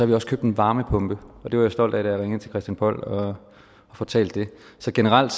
vi også købt en varmepumpe og det var jeg stolt af da jeg ringede til christian poll og fortalte det så generelt